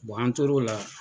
an tor'o la.